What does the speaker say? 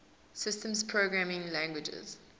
systems programming languages